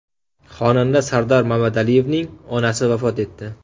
Xonanda Sardor Mamadaliyevning onasi vafot etdi.